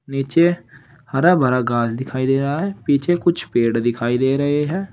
नीचे हरा भरा घास दिखाई दे रहा है पीछे कुछ पेड़ दिखाई दे रहे हैं।